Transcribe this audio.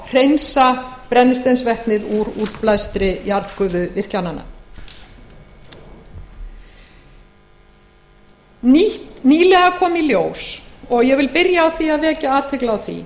hreinsa brennisteinsvetnið úr útblæstri jarðgufuvirkjananna nýlega komu í ljós og ég vil byrja á að vekja athygli á því